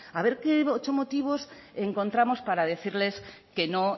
a ver qué ocho motivos encontramos para decirles que no